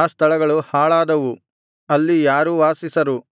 ಆ ಸ್ಥಳಗಳು ಹಾಳಾದವು ಅಲ್ಲಿ ಯಾರೂ ವಾಸಿಸರು